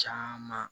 Caman